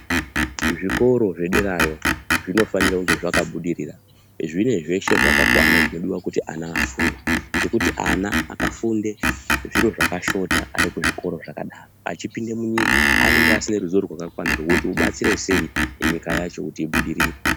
Zvikoro zvederayo, zvinofanira kunge zvaka budurira , zvine zveshe zvakakwana zvinodiwa kuti vana vafunde, ngekuti ana akafunde zviro zvakashota arikuzvikora zvakadaro, achipinde munyika anenge asina ruzivo rwakakwana kuti obatsire sei nyika yacho kuti ibudirire.